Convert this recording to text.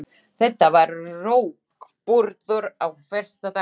Þetta var rógburður af versta tagi.